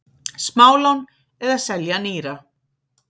Smálán eða selja nýra?